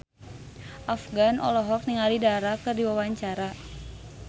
Afgan olohok ningali Dara keur diwawancara